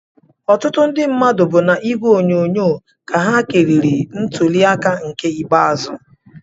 Ọtụtụ ndị mmadụ bụ n'ìgwè onyonyo ka ha kiriri ntuli aka nke ikpeazụ